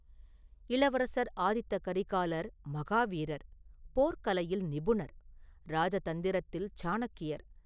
இளவரசர் ஆதித்த கரிகாலர் மகாவீரர், போர்க் கலையில் நிபுணர்; ராஜதந்திரத்தில் சாணக்கியர்.